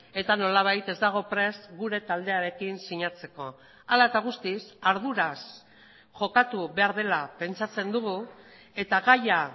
eta nolabait ez dago prest gure taldearekin sinatzeko hala eta guztiz arduraz jokatu behar dela pentsatzen dugu eta gaia